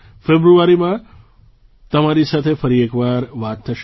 ફેબ્રુઆરીમાં તમારી સાથે ફરી એક વાર વાત થશે